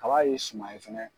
Kaba ye suma ye.